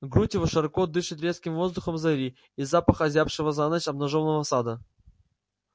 грудь его широко дышит резким воздухом зари и запахам озябшего за ночь обнажённого сада